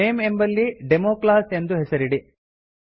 name ಎಂಬಲ್ಲಿ democlass ಎಂದು ಹೆಸರಿಡಿ